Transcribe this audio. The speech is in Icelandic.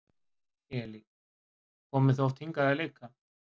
Elín: Komið þið oft hingað að leika?